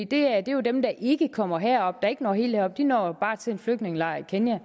det er jo dem der ikke kommer herop der ikke når helt herop de når bare til en flygtningelejr i kenya